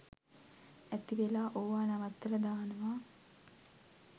ඇතිවෙලා ඕවා නවත්තලා දානවා